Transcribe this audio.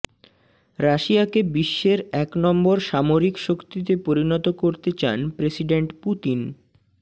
রাশিয়াকে বিশ্বের এক নম্বর সামরিক শক্তিতে পরিণত করতে চান প্রেসিডেন্ট পুতিন